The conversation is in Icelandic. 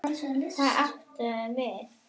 Og hvað áttu að gera?